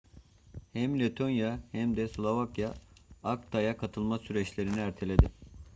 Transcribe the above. hem letonya hem de slovakya acta'ya katılma süreçlerini erteledi